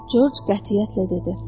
Corc qətiyyətlə dedi.